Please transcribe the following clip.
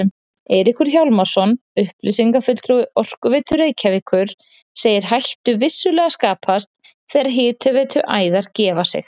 Eiríkur Hjálmarsson, upplýsingafulltrúi Orkuveitu Reykjavíkur, segir hættu vissulega skapast þegar hitaveituæðar gefi sig.